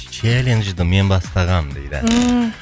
челенжді мен бастағанмын дейді ммм